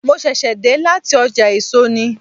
Mo ṣẹ̀ṣẹ̀ dé láti ọjà èso ni.